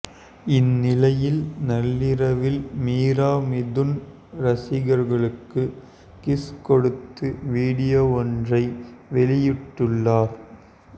இந்நிலையில் நள்ளிரவில் மீரா மிதுன் ரசிகர்களுக்கு கிஸ் கொடுத்து வீடியோ ஒன்றை வெளியிட்டுள்ளார்